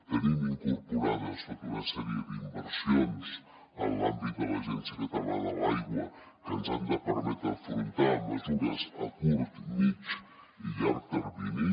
tenim incorporades tota una sèrie d’inversions en l’àmbit de l’agència catalana de l’aigua que ens han de permetre afrontar mesures a curt mitjà i llarg termini